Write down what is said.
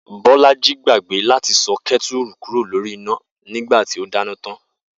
Bó̩lájí gbàgbé láti so̩ ké̩tùrù kúrò lórí iná nígbà tí ó dáná tán